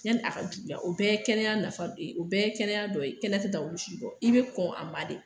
Yani a ka juguya o bɛɛ ye kɛnɛya nafa o bɛɛ kɛnɛya dɔ ye kɛnɛya tɛ taa olu si kɔ i bɛ kɔn a ma de